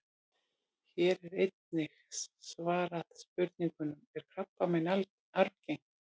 Hér er einnig svarað spurningunum: Er krabbamein arfgengt?